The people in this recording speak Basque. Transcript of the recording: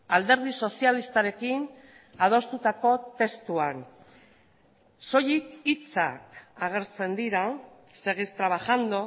alderdi sozialistarekin adostutako testuan soilik hitzak agertzen dira seguir trabajando